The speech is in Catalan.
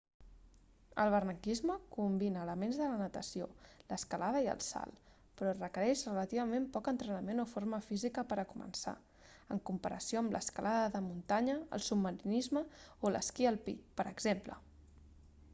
el barranquisme combina elements de la natació l'escalada i el salt però requereix relativament poc entrenament o forma física per a començar en comparació amb l'escalada de muntanya el submarinisme o l'esquí alpí per exemple